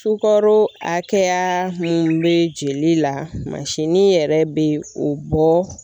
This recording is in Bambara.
Sukaro hakɛya mun be jeli la mansinin yɛrɛ be o bɔ.